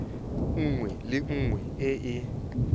nngwe le nngwe e e